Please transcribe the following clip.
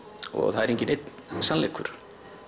það er enginn einn sannleikur